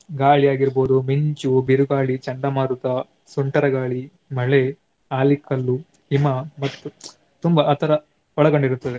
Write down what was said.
ಗಾಳಿಯಾಗಿರ್ಬಹುದು, ಮಿಂಚು, ಬಿರುಗಾಳಿ, ಚಂಡಮಾರುತ, ಸುಂಟರಗಾಳಿ, ಮಳೆ, ಆಲಿಕಲ್ಲು, ಹಿಮ ಮತ್ತು ತುಂಬಾ ಆ ತರ ಒಳಗೊಂಡಿರುತ್ತದೆ.